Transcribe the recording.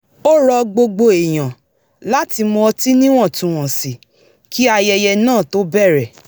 ó ro̩ gbogbo èèyàn láti mu ọtí níwọ̀ntúnwọ̀nsì kí ayẹyẹ náà tó bẹ̀rẹ̀